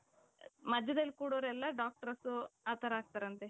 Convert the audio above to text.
ಮದ್ಯದಲ್ಲಿ ಕೂರೋರೆಲ್ಲಾ doctors ಆ ತರ ಆಗ್ತಾರಂತೆ.